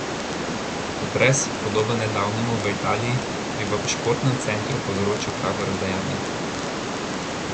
Potres, podoben nedavnemu v Italiji, bi v športnem centru povzročil pravo razdejanje.